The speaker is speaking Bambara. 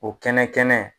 O kɛnɛ kɛnɛ